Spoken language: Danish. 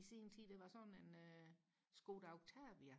i sin tid det var sådan en Skoda Oktavia